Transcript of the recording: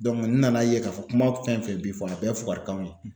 n nana ye k'a fɔ kuma fɛn fɛn bi fɔ a bɛɛ ye fukarikanw ye.